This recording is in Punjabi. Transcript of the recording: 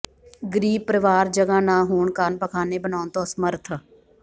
ਗ਼ਰੀਬ ਪਰਿਵਾਰ ਜਗ੍ਹਾ ਨਾ ਹੋਣ ਕਾਰਨ ਪਖ਼ਾਨੇ ਬਣਾਉਣ ਤੋਂ ਅਸਮਰਥ